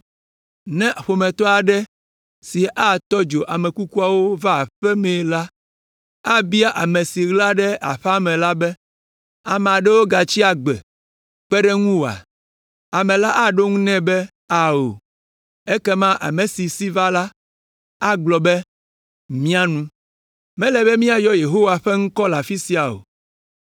Ne ƒometɔ aɖe si atɔ dzo ame kukuawo va aƒea me la, abia ame si ɣla ɖe aƒea me la be, “Ame aɖewo gatsi agbe kpe ɖe ŋuwòa?” Ame la aɖo eŋu nɛ be, “Ao!” Ekema ame si va la, agblɔ be, “Mia nu. Mele be míayɔ Yehowa ƒe ŋkɔ le afi sia o.”